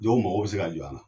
Dɔw mago bi se ka jɔ a la.